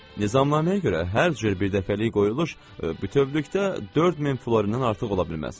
Nizamnaməyə görə hər cür birdəfəlik qoyuluş bütövlükdə 4000 florindən artıq ola bilməz.